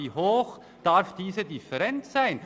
Wie hoch darf diese Differenz sein?